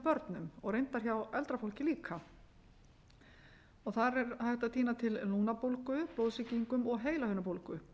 börnum og reyndar hjá eldra fólki líka þar er hægt að tína til lungnabólgu blóðsýkingu og heilahimnubólgu